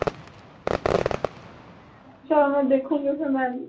ਚੱਲ ਮੈਂ ਦੇਖੂੰਗੀ ਫੇਰ ਮੈਂ